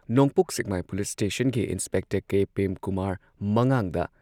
ꯅꯣꯡꯄꯣꯛ ꯁꯦꯛꯃꯥꯏ police ꯁ꯭ꯇꯦꯁꯟꯒꯤ inspector K. Premkumar ꯃꯉꯥꯡꯗ